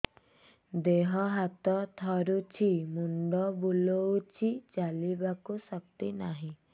ଦେହ ହାତ ଥରୁଛି ମୁଣ୍ଡ ବୁଲଉଛି ଚାଲିବାକୁ ଶକ୍ତି ନାହିଁ